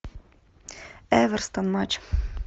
эвертон матч